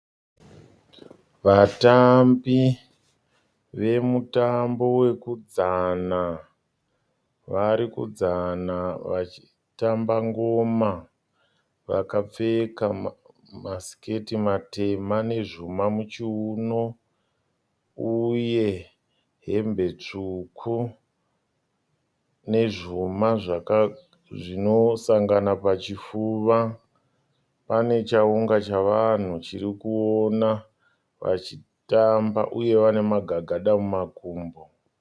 Vatambi vemutambo wekudzana varikudzana vachitamba ngoma. Vakapfeka masiketi matema nezvuma muchiunu uye hembe tsvuku, nezvuma zvinosangana pachipfuva. Pane chaunga chavanhu chirikuona vachitamba uye vana magagada mumakumbo.